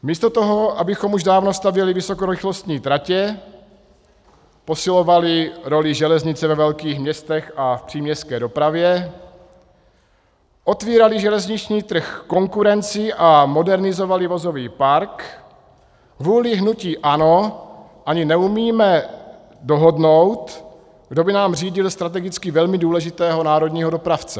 Místo toho, abychom už dávno stavěli vysokorychlostní tratě, posilovali roli železnice ve velkých městech a v příměstské dopravě, otvírali železniční trh konkurenci a modernizovali vozový park, kvůli hnutí ANO ani neumíme dohodnout, kdo by nám řídil strategicky velmi důležitého národního dopravce.